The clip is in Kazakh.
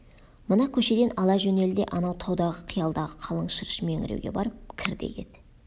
мына көшеден ала жөнел де анау таудағы қиядағы қалың шырыш меңіреуге барып кір де кет